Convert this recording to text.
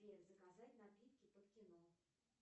сбер заказать напитки под кино